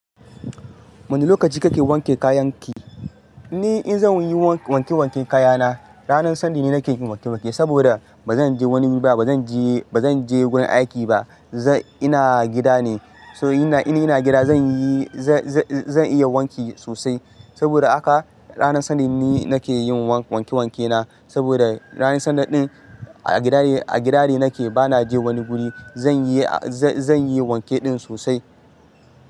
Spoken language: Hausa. Wane lokaci kake wanke kayan ki? Ni in zan yi wanke-wanke kayana ranar Sunday ne nake yin wanke-wanke saboda ba zan je wani ba, ba zan je, ba zan je gurin aiki ba. Zan-- ina gida ne. So ina, in ina gida zan yi, zan, zan, zan iya wanki sosai. Saboda haka ranar Sunday ne nake yin wanke-wanke na. Saboda ranar Sunday ɗin a gida ne, a gida ne nake. Ba na je wani guri. Zan yi, zan yi wanke ɗin sosai.